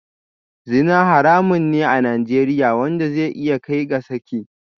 Zina haramun ne a Najeriya wanda zai iya kai ga saki